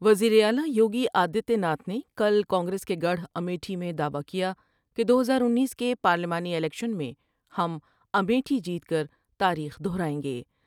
وزیر اعلی یوگی آدتیہ ناتھ نے کل کانگریس کے گڑھ امیٹھی میں دعوی کیا کہ دو ہزار انیس کے پارلیمانی الیکشن میں ہم امیٹھی جیت کر تاریخ دوہرائیں گے ۔